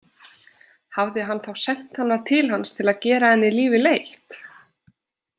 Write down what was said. Hafði hann þá sent hana til hans til að gera henni lífið leitt?